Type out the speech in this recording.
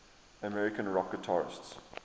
american rock guitarists